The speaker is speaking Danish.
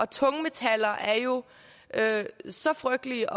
tungmetaller er jo så frygtelige